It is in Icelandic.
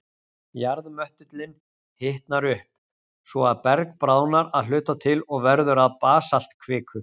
Jarðmöttullinn hitnar upp, svo að berg bráðnar að hluta til og verður að basaltkviku.